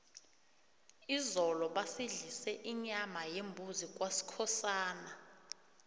izolo basidlise inyama yembuzi kwaskhosana